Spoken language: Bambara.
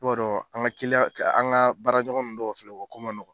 I b'a dɔn an ga kiliyan an ga baara ɲɔgɔn nu dɔw filɛ o ko ma nɔgɔ